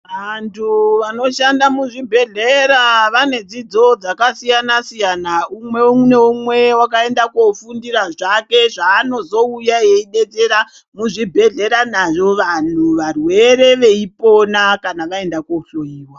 Vantu vanoshanda muzvibhedhlera vanedzidzo dzakasiyana-siyana. Umwe neumwe wakaenda koofundira zvake zvaanozouya eibetsera muzvibhehlera nazvo vantu varwere veipona kana vainda kuohloyiwa.